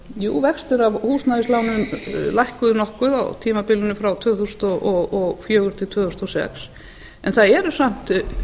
jú vextir af húsnæðislánum lækkuðu nokkuð á tímabilinu frá tvö þúsund og fjögur til tvö þúsund og sex en það eru samt ætli